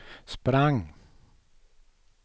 sprang